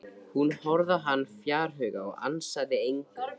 Hún horfði á hann fjarhuga og ansaði engu.